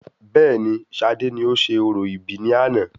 Bẹẹni, sade ni ó ń ṣe orò ìbí ní àná